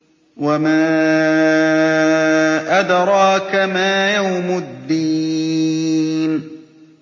وَمَا أَدْرَاكَ مَا يَوْمُ الدِّينِ